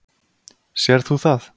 Sérð þú það?